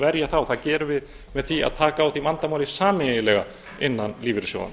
verja það og það gerum við með því að taka á því vandamáli sameiginlega innan lífeyrissjóðanna